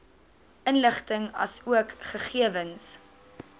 inligting asook gegewens